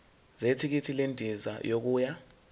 zethikithi lendiza yokuya